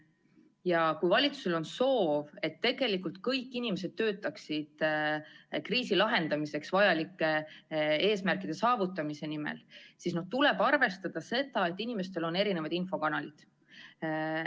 Ja kui valitsusel on soov, et tegelikult kõik inimesed töötaksid kriisi lahendamiseks vajalike eesmärkide saavutamise nimel, siis tuleb arvestada seda, et inimestel on erinevaid infokanalid.